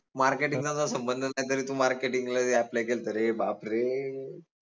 marketing चा तुझा संबंध नाई तरी तू marketing ला apply केलंत रे बापरे